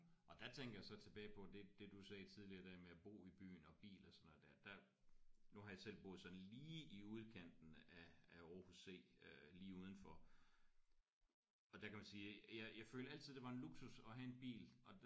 Og der tænker jeg så tilbage på det det du sagde tidligere det der med at bo i byen og bil og sådan noget der. Der nu har jeg selv boet sådan lige i udkanten af af Aarhus C øh lige udenfor. Og der kan man sige jeg jeg følte altid det var en luksus at have en bil